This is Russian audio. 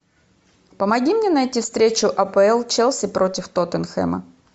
помоги мне найти встречу апл челси против тоттенхэма